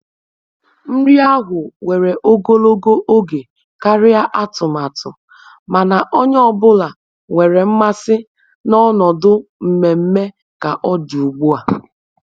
Nri ahụ were ogologo oge karịa atụmatụ, mana onye ọ bụla nwere mmasị na ọnọdụ mmemme ka ọ dị ugbu a